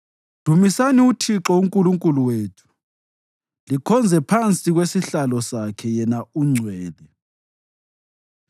Dumisani uThixo uNkulunkulu wethu likhonze phansi kwesihlalo sakhe; yena ungcwele.